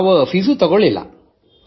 ಯಾವುದೇ ಶುಲ್ಕವನ್ನೂ ವಿಧಿಸಲಿಲ್ಲ